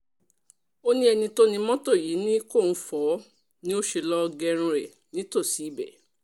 ó ní ẹni tó ni mọ́tò yìí ní kóun fọ́ ọ ni ó sì lọ́ọ́ gẹrun ẹ̀ nítòsí ibẹ̀